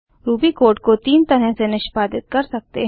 Ruby code को तीन तरह से निष्पादित कर सकते हैं